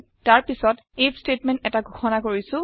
তাৰ পাছত IF statement এটা ঘোষণা কৰিছো